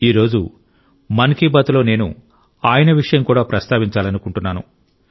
ఈ రోజు మన్ కి బాత్ లో నేను ఆయన విషయం కూడా ప్రస్తావించాలనుకుంటున్నాను